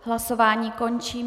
Hlasování končím.